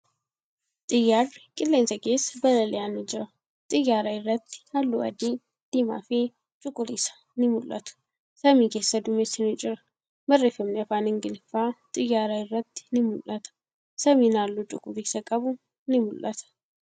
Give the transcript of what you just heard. Xiyyaarri qilleensa keessa balali'aa ni jira. Xiyyaara irratti haalluu adii, diimaa fi cuquliisa ni mul'atu. Samii keessa duumessi ni jira. Barreeffamni afaan Ingiliffaa xiyyaara irratti ni mul'ata. Samiin haalluu cuquliisa qabu ni mul'ata.